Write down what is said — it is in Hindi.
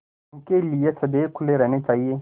उनके लिए सदैव खुले रहने चाहिए